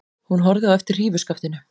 Hún horfði á eftir hrífuskaftinu.